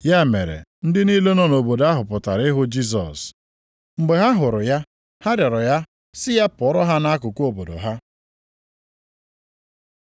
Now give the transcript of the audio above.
Ya mere ndị niile nọ nʼobodo ahụ pụtara ịhụ Jisọs. Mgbe ha hụrụ ya ha rịọrọ ya sị ya pụọra ha nʼakụkụ obodo ha.